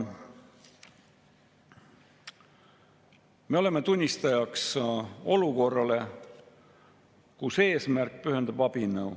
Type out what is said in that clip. Me oleme tunnistajaks olukorrale, kus eesmärk pühitseb abinõu.